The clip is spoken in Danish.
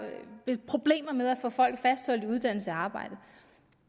problemer med at få folk fastholdt i uddannelse og arbejde